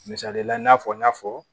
Misalila i n'a fɔ n y'a fɔ